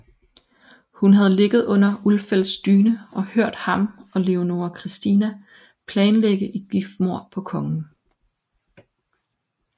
Hun havde ligget under Ulfeldts dyne og hørt ham og Leonora Christina planlægge et giftmord på kongen